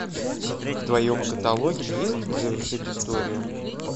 в твоем каталоге есть завершить историю